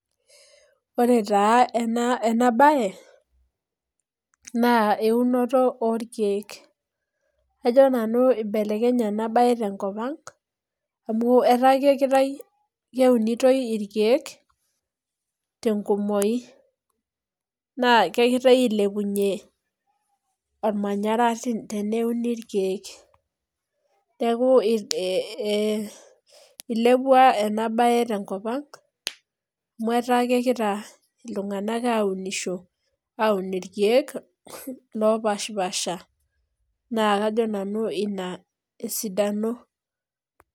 Ore taa ena enabae, naa eunoto orkeek. Kajo nanu ibelekenye enabae tenkop ang', amu etaa kitai keunitoi irkeek, tenkumoyu. Naa kegirai ailepunye ormanyara teneuni irkeek. Neeku ilepua enabae tenkop ang', amu etaa kekita iltung'anak aunisho aun irkeek, lopashipaasha. Naa kajo nanu ina esidano.